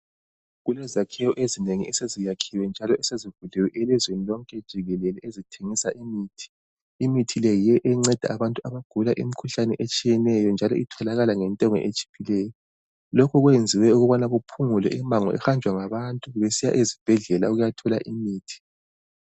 Kulezakhiwe ezinengi eseziyakhiwe, njalo esezivuliwe elizweni lonke jikelele, ezithengisa imithi. Imithi le yiyo enceda abantu abagula imkhuhlane etshiyeneyo, njalo itholakala ngentengo etshiphileyo. Lokhu kwenziwe ukuthi kuphungulwe imango, ehanjwa ngabantu besiya ezibhedlela ukuyathola imithi.